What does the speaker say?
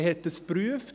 Man hat das geprüft.